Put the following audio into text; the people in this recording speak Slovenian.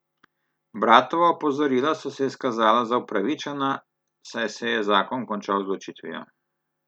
Bratova opozorila so se izkazala za upravičena, saj se je zakon končal z ločitvijo.